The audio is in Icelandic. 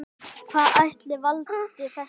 Hvað ætli valdi þessu?